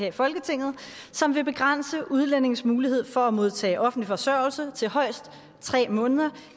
i folketinget som vil begrænse udlændinges mulighed for at modtage offentlig forsørgelse til højst tre måneder